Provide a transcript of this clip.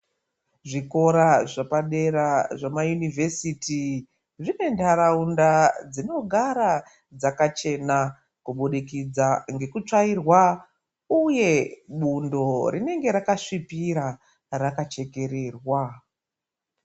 Zvikora zvepadera zvemayunivhesiti zvine ntaraunda dzinogara dzakachena kubudikidza ngekutsvairwa uye bundo rinonge rakasvipira reichekererwa.